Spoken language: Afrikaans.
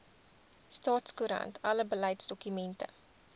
staatskoerant alle beleidsdokumente